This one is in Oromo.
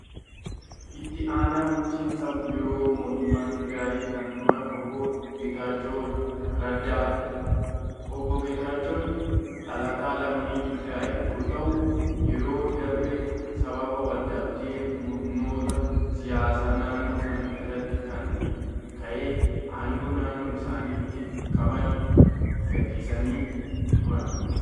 Itti aanaa bulchiinsa yeroo mootummaa Tigiraayi kan turan Obbo Geetaachoo Raddaa. Obbo Geetaachoon dhalataa lammii Tigiraayi yoo ta'u, yeroo darbe sababa wal-dhabdee murnoota siyaasaa naannoo sanaa irraan kan ka'e aangoo naannoo isaaniitti qaban gadhiisanii turan.